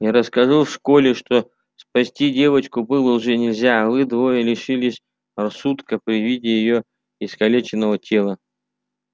и расскажу в школе что спасти девочку было уже нельзя а вы двое лишились рассудка при виде её искалеченного тела